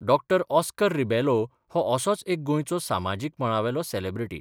डॉ Oscar Rebelo हो असोच एक गोंयचो सामाजीक मळावेलो सेलेब्रिटी.